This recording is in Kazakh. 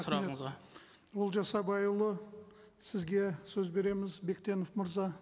сұрағаңызға олжас абайұлы сізге сөз береміз бектенов мырза